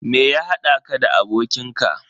Me ya haɗa ka da abokin ka?